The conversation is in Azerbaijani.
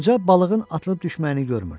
Qoca balığın atılıb düşməyini görmürdü.